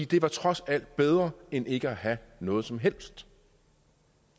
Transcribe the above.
det var trods alt bedre end ikke at have noget som helst